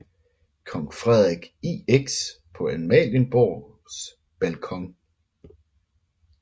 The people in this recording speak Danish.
Kong Frederik IX på Amalienborgs balkon